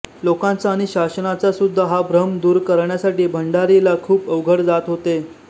लोकांचा आणि शासनाचा सुद्धा हा भ्रम दूर करण्यासाठी बंडारी ला खूप अवघड जात होते